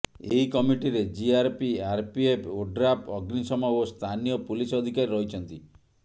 ଏହି କମିଟିରେ GRP RPF ODRAF ଅଗ୍ନିଶମ ଓ ସ୍ଥାନୀୟ ପୁଲିସ ଅଧିକାରୀ ରହିଛନ୍ତି